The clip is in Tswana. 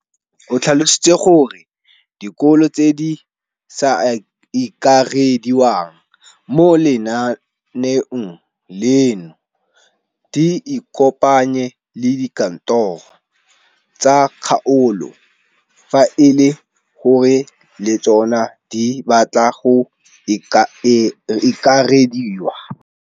O tlhalositse gore dikolo tse di sa akarediwang mo lenaaneng leno di ikopanye le dikantoro tsa kgaolo fa e le gore le tsona di batla go akarediwa.